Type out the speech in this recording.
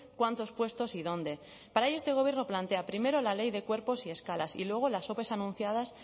cuántos puestos y dónde para ello este gobierno plantea primero la ley de cuerpos y escalas y luego las ope anunciadas